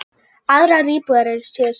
Aðrar íbúðir séu smærri.